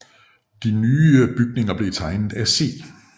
De nye bygninger blev tegnet af C